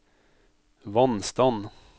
vannstand